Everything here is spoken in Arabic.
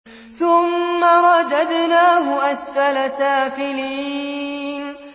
ثُمَّ رَدَدْنَاهُ أَسْفَلَ سَافِلِينَ